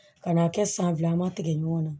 Ka n'a kɛ san fila ma tigɛ ɲɔgɔn na